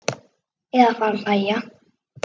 Eða fara að hlæja.